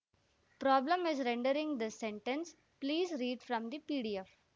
problem in rendering this sentence please read from the PDF